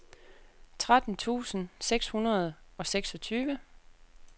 tretten tusind seks hundrede og seksogtyve